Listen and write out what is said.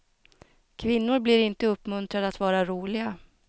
Kvinnor blir inte uppmuntrade att vara roliga.